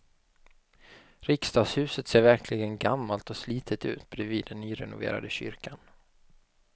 Riksdagshuset ser verkligen gammalt och slitet ut bredvid den nyrenoverade kyrkan.